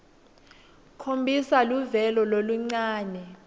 khombisa luvelo loluncane